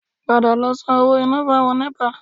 Padà lọ san owó iná fún àwọn Nẹ́pà